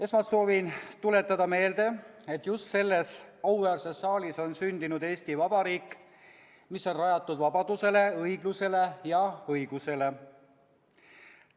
Esmalt soovin tuletada meelde, et just selles auväärses saalis on sündinud Eesti Vabariik, mis on rajatud vabadusele, õiglusele ja õigusele.